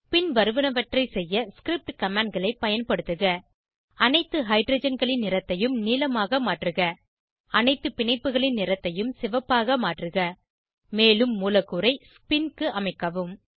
பின்வருவனவற்றை செய்ய ஸ்கிரிப்ட் commandகளை பயன்படுத்துக அனைத்து ஹைட்ரஜன்களின் நிறத்தையும் நீலமாக மாற்றுக அனைத்து பிணைப்புகளின் நிறத்தையும் சிவப்பாக மாற்றுக மேலும் மூலக்கூறை ஸ்பின் க்கு அமைக்கவும்